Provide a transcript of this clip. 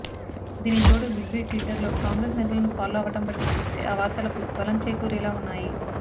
దీనికి తోడు బిగ్బి ట్విటర్లో కాంగ్రెస్ నేతలను ఫాలో అవ్వడం బట్టి చూస్తే ఆ వార్తలకు బలం చేకూరేలా ఉన్నాయి